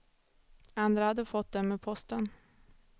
Andra hade fått dem med posten.